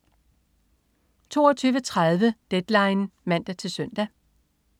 22.30 Deadline (man-søn)